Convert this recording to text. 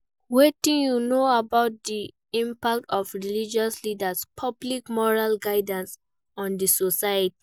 Wetin you know about di impact of religious leaders' public moral guidance on di society?